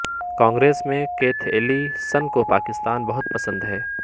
کانگریس مین Keith Ellison کو پاکستان بہت پسند ہے